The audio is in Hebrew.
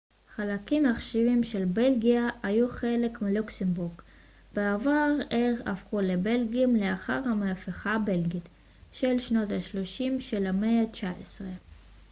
חלקים עכשוויים של בלגיה היו חלק מלוקסמבורג בעבר אך הפכו לבלגים לאחר המהפכה הבלגית של שנות ה-30 של המאה התשע עשרה